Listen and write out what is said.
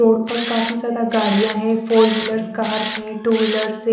road पर काफी ज्यादा गाड़ियां है फोर व्हीलर्स कार्स है टू व्हीलर्से --